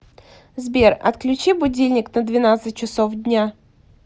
сбер отключи будильник на двенадцать часов дня